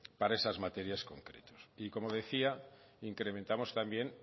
para esas materias concretas y como decía incrementamos también